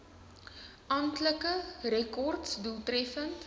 amptelike rekords doeltreffend